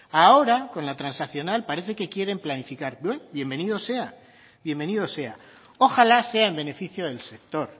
ahora con la transaccional para que quieren planificar bueno bienvenido sea bienvenido sea ojalá sea en beneficio del sector